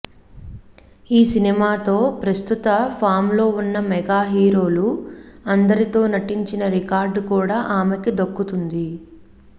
ఈ సినిమాతో ప్రస్తుతం ఫామ్లో ఉన్న మెగా హీరోలు అందరితో నటించిన రికార్డ్ కూడా ఆమెకి దక్కుతుంది